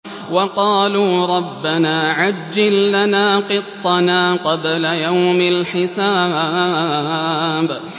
وَقَالُوا رَبَّنَا عَجِّل لَّنَا قِطَّنَا قَبْلَ يَوْمِ الْحِسَابِ